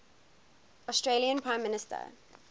australian prime minister